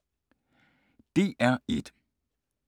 DR1